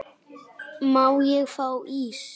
Má ég fá ís?